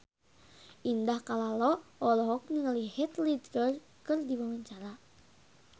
Indah Kalalo olohok ningali Heath Ledger keur diwawancara